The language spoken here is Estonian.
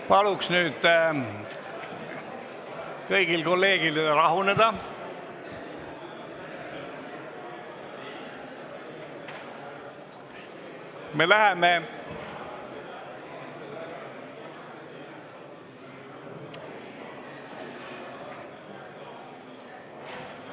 Palun nüüd kõigil kolleegidel rahuneda!